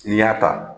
N'i y'a ta